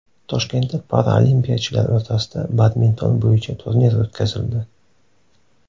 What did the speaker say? Toshkentda paralimpiyachilar o‘rtasida badminton bo‘yicha turnir o‘tkazildi.